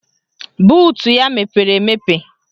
Buutu ya mepere emepe